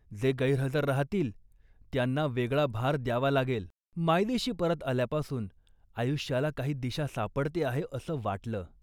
जे गैरहजर राहतील त्यांना वेगळा भार द्यावा लागेल. मायदेशी परत आल्यापासून आयुष्याला काही दिशा सापडते आहे असं वाटलं